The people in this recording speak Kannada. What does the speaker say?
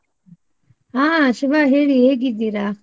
ಹಾ ಶುಭ ಹೇಳಿ ಹೇಗಿದ್ದೀರಾ?